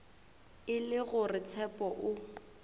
e le gore tshepo o